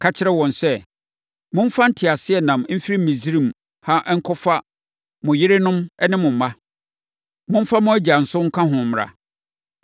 “Ka kyerɛ wɔn sɛ, ‘Momfa nteaseɛnam mfiri Misraim ha nkɔfa mo yerenom ne mo mma. Momfa mo agya nso nka ho mmra.